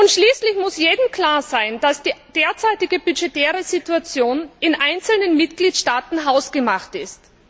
Schließlich muss jedem klar sein, dass die derzeitige budgetäre Situation in einzelnen Mitgliedstaaten hausgemacht ist.